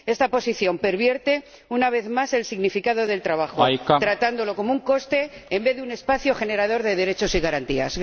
Esta posición pervierte, una vez más, el significado del trabajo, tratándolo como un coste en vez de como un espacio generador de derechos y garantías.